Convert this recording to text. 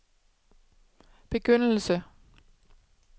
begyndelse